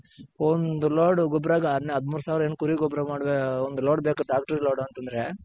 ಒಂದು load ಗೊಬ್ರಗೆ ಹದ್ಮುರ್ ಸಾವ್ರ ಏನ್ ಕುರಿ ಗೊಬ್ರ ಮಾಡ್ ಒಂದು load ಬೇಕು ಟ್ರಾಕ್ಟರ್ ಲೋಡ್ ಅಂತಂದ್ರೆ.